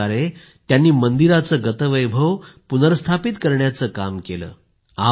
अशा प्रकारे त्यांनी मंदिराचं गतवैभव पुनर्स्थापित करण्याचं काम केलं